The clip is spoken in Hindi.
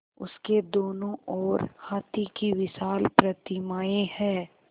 उसके दोनों ओर हाथी की विशाल प्रतिमाएँ हैं